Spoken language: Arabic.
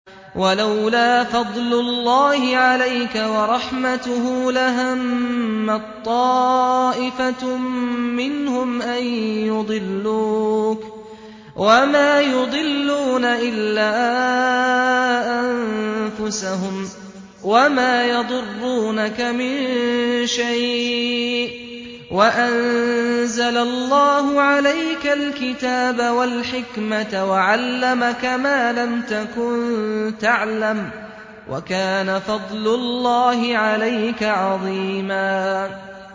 وَلَوْلَا فَضْلُ اللَّهِ عَلَيْكَ وَرَحْمَتُهُ لَهَمَّت طَّائِفَةٌ مِّنْهُمْ أَن يُضِلُّوكَ وَمَا يُضِلُّونَ إِلَّا أَنفُسَهُمْ ۖ وَمَا يَضُرُّونَكَ مِن شَيْءٍ ۚ وَأَنزَلَ اللَّهُ عَلَيْكَ الْكِتَابَ وَالْحِكْمَةَ وَعَلَّمَكَ مَا لَمْ تَكُن تَعْلَمُ ۚ وَكَانَ فَضْلُ اللَّهِ عَلَيْكَ عَظِيمًا